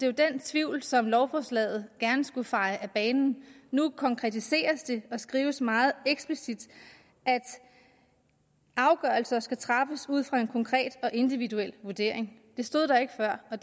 jo den tvivl som lovforslaget gerne skulle feje af banen nu konkretiseres det og skrives meget eksplicit at afgørelser skal træffes ud fra en konkret og individuel vurdering det stod der ikke før og